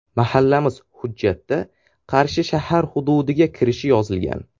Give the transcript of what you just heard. Mahallamiz hujjatda Qarshi shahar hududiga kirishi yozilgan.